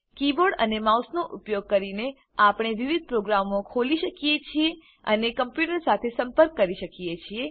keyboard અને માઉસનો ઉપયોગ કરીને આપણે વિવિધ પ્રોગ્રામો ખોલી શકીએ છીએ અને કમ્પ્યુટર સાથે સંપર્ક કરી શકીએ છીએ